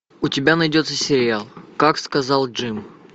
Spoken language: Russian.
у тебя найдется сериал как сказал джим